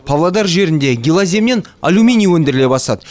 павлодар жерінде гилоземнен алюминий өндіріле бастады